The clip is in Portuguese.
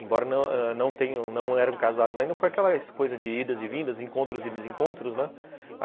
Embora não ãh não tenham não eram casados ainda, foi aquela coisa de idas e vindas, encontros e desencontros, né?